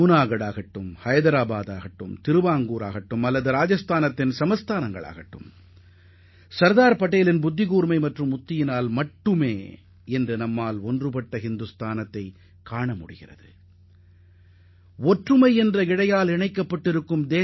ஜூனாகத் ஹைதராபாத் திருவாங்கூர் சமஸ்தானங்களாக இருந்தாலும் சரி ராஜஸ்தானில் இருந்த சமஸ்தானங்களாக இருந்தாலும் சரி தற்போது நாம் காணும் ஒருங்கிணைந்த இந்தியாவை காண முடிகிறது என்றால் அதற்கு சர்தார் பட்டேலின் மதிநுட்பமும் தொலைநோக்குப் பார்வையுமே முக்கிய காரணமாகும்